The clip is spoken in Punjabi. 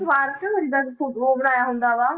ਸਮਾਰਕ ਜਿੱਦਾਂ ਉਹ ਬਣਾਇਆ ਹੁੰਦਾ ਵਾ